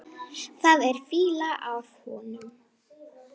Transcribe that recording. Það er fýla af honum.